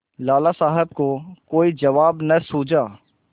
लाला साहब को कोई जवाब न सूझा